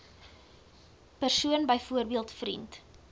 persoon byvoorbeeld vriend